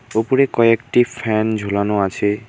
ওপরে কয়েকটি ফ্যান ঝোলানো আছে।